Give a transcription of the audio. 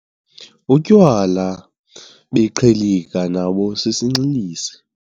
Utywala beqhilika nabo sisinxilisi.